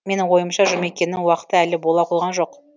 менің ойымша жұмекеннің уақыты әлі бола қойған жоқ